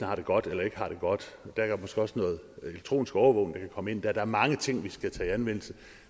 har det godt eller ikke har det godt der er måske også noget elektronisk overvågning komme ind der der er mange ting vi skal tage i anvendelse